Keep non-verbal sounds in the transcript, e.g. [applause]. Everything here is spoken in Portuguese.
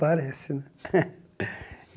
Parece, né? [laughs]